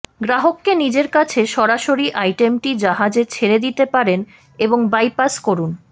গ্রাহককে নিজের কাছে সরাসরি আইটেমটি জাহাজে ছেড়ে দিতে পারেন এবং বাইপাস করুন